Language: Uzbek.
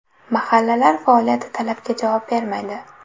Mahallalar faoliyati talabga javob bermaydi.